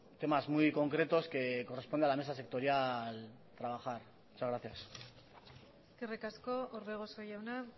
temas muy concretos que corresponde a la mesa sectorial trabajar muchas gracias eskerrik asko orbegozo jauna